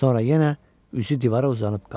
Sonra yenə üzü divara uzanıb qaldı.